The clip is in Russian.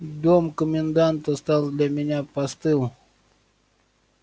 дом коменданта стал для меня постыл